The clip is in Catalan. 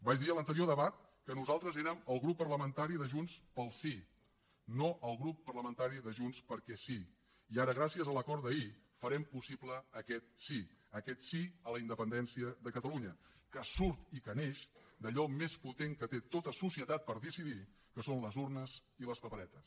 vaig dir en l’anterior debat que nosaltres érem el grup parlamentari de junts pel sí no el grup parlamentari de junts perquè sí i ara gràcies a l’acord d’ahir farem possible aquest sí aquest sí a la independència de catalunya que surt i que neix d’allò més potent que té tota societat per decidir que són les urnes i les paperetes